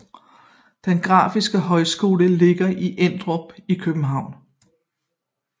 Den Grafiske Højskole ligger i Emdrup i København